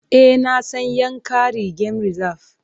E, na san Yankari Game Reserve.